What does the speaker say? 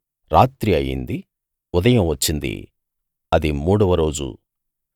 రాత్రి అయింది ఉదయం వచ్చిందిమూడవ రోజు